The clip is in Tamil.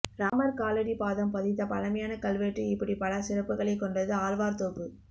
ராமர் காலடி பாதம் பதித்த பழமையான கல்வெட்டு இப்படி பல சிறப்புகளை கோண்டது ஆழ்வார்தோப்பு